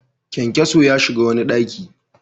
Kyankyaso ya shiga wani ɗaki.